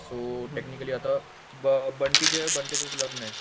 so technically आता बंटी जो आहे, बंटीचच लग्नय